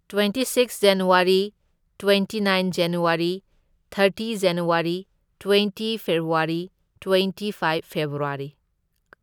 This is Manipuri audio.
Twenty six January, twenty nine January, thirty January, twenty February, twenty five February.